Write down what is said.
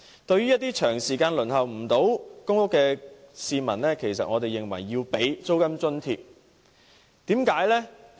對於一些長時間未能"上樓"的市民，我們認為政府應提供租金津貼。